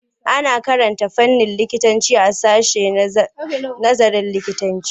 Ana karanta fannin likitanci a sashen nazarin likitanci.